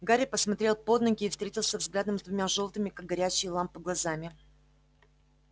гарри посмотрел под ноги и встретился взглядом с двумя жёлтыми как горящие лампы глазами